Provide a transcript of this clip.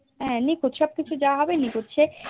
হা নিখুঁত সবকিছু যা হবে নিখুঁত সে